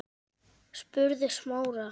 spurði Smári.